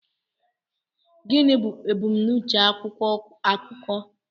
Gịnị bụ ebumnuche akwụkwọ akụkọ